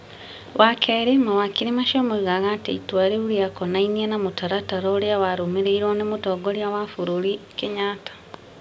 Wa kerĩ, mawakiri macio moigaga atĩ itua rĩũ rĩa konainie na mũtaratara ũrĩa warũmĩrĩirwo nĩ mũtongoria wa bũrũri Kenyatta ,